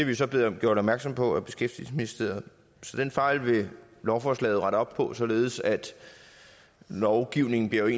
jo så blevet gjort opmærksom på af beskæftigelsesministeriet så den fejl vil lovforslaget rette op på således at lovgivningen bliver